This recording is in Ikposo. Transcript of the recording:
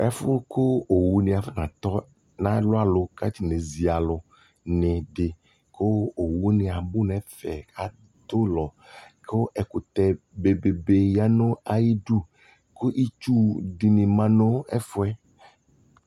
ɛƒʋ kʋ ɔwʋ ni aƒɔna tɔ na lʋ alʋ kʋ aƒɔnɛ zi alʋ dini kʋ ɔwʋ niabʋ nʋ ɛƒɛ atʋ ɔlɔ kʋ ɛkʋtɛ bɛbɛbɛ yanʋ ayidʋ kʋ itsʋ dini manʋ ɛƒʋɛ